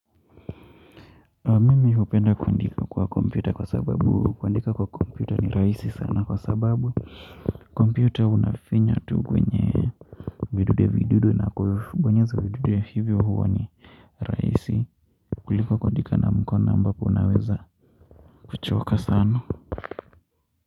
Mimi hupenda kuandika kwa kompyuta kwa sababu kuandika kwa kompyuta ni rahisi sana kwa sababu kompyuta unafinya tu kwenye vidude vidude na kubonyeza vidude hivyo huwa ni rahisi kuliko kuandika na mkono ambapo unaweza kuchoka sana.